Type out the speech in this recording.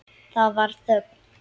Það varð þögn.